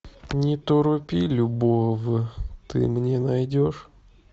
не торопи любовь ты мне найдешь